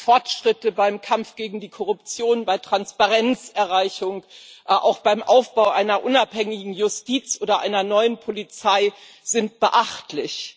Die Fortschritte beim Kampf gegen die Korruption, bei Transparenzerreichung, auch beim Aufbau einer unabhängigen Justiz oder einer neuen Polizei sind beachtlich.